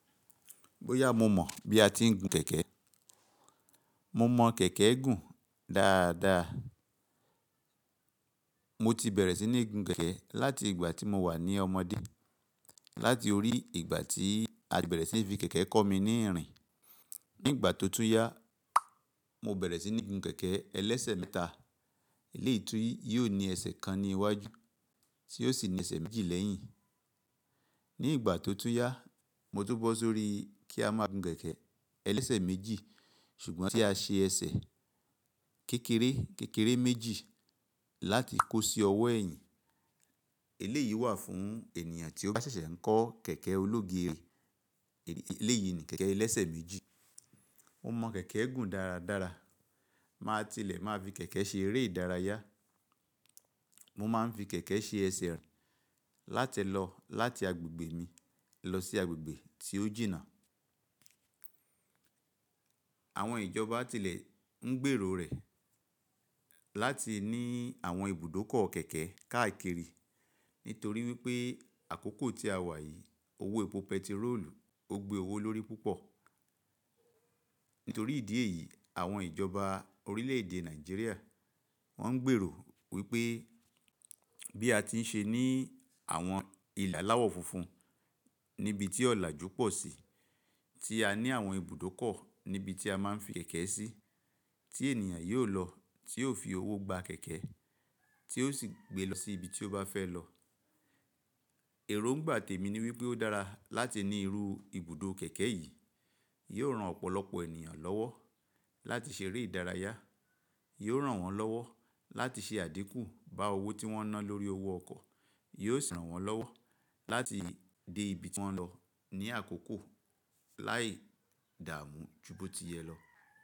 Bóyá mo mọ̀ bí a ti ń gun kẹ̀kẹ́? Mo mọ kẹ̀kẹ́ gùn dáadáa. Mo ti bẹ̀rẹ̀ sí ní gun kẹ̀kẹ́ láti ìgbà tí mo wà ní ọmọdé, láti orí ìgbà tí a bẹ̀rẹ̀ sí ní fi kẹ̀kẹ́ kọ́ mi ní irìn. Ní ìgbà tó tú yá, mo bẹ̀rẹ̀ sí ní gun kẹ̀kẹ́ ẹlẹ́sẹ̀ mẹ́ta. Eléyìí tii yóò ní ẹsẹ̀ kan ní iwájú tí yóò sì ní ẹsẹ̀ méjì lẹ́yìn. Ní ìgbà tó tún yá, mo tun bọ́ sórí kí a máa gun kẹ̀kẹ́ ẹlẹ́sẹ̀ méjì ṣùgbọ́n tí a ṣe ẹsẹ̀ kékeré, kékeré méjì láti kó sí ọwọ́ ẹ̀yìn. Eléyìí wà fún ènìyàn tí ó bá ṣẹ̀ṣẹ̀ ń kọ́ kẹ̀kẹ́ ológiri. Eléyìí ni kẹ̀kẹ́ ẹlẹ́sẹ̀ méjì. Mo mọ kẹ̀kẹ́ gùn dáradára. Ma tilẹ̀ máa fi kẹ̀kẹ́ ṣe eré ìdárayá. Mo máa ń fi kẹ̀kẹ́ ṣe ẹsẹ̀ rìn látilọ láti agbègbè mi lọ sí agbègbè tí ó jìnnà. Àwọn ìjọba tilẹ̀ ń gbèrò rẹ̀ láti ní àwọn ibùdókọ̀ kẹ̀kẹ́ káàkiri nítorí wípé àkókò tí a wà yìí, owó epo pẹtírólù ó gbe owó lórí púpọ̀. Nítorí ìdí èyí, àwọn ìjọba orílẹ̀ èdè Nàìjíríà wọ́n ń gbèrò wípé bí a ti ń ṣe ní àwọn ìle aláwọ̀ funfun níbi tí ọ̀làjú pọ̀ sí tí a ní àwọn ibùdókọ̀ níbi tí a máa ń fi kẹ̀kẹ́ sí tí ènìyàn yóò lọ tí yóò fi owó gba kẹ̀kẹ́ tí ó sì gbé lọ sí ibi tí ó bá fẹ́ lọ. Èrò ń gbà tèmi ni wípé ó dára láti ní irú ibùdó kẹ̀kẹ́ yìí. Yóò ran ọ̀pọ̀lọpọ̀ ènìyàn lọ́wọ́ láti ṣe eré ìdárayá. Yóò ran wọ́n lọ́wọ́ láti ṣe àdínkù bá owó tí wọ́n ná lórí owó ọkọ̀. Yóò sì ran wọ́n lọ́wọ́ láti dé ibi tí wọ́n ń lọ ní àkókò láì dààmú ju bó ti yẹ lọ.